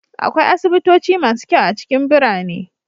Akwai asibitoci masu kyau a cikin birane.